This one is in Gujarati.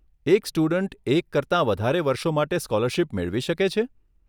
એક સ્ટુડન્ટ એક કરતાં વધારે વર્ષો માટે સ્કોલરશીપ મેળવી શકે છે?